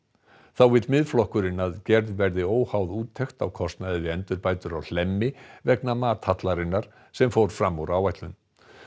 þá vill Miðflokkurinn að gerð verði óháð úttekt á kostnaði við endurbætur á Hlemmi vegna sem fór fram úr áætlun